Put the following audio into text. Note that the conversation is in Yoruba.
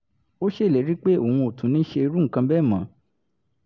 ó ṣèlérí pé òun ò tún ní ṣe irú nǹkan bẹ́ẹ̀ mọ́